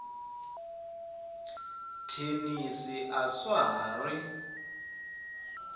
thenisi a swa ha ri